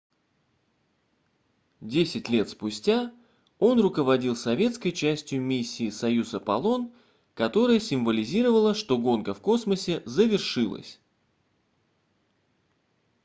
десять лет спустя он руководил советской частью миссии союз-аполлон которая символизировала что гонка в космосе завершилась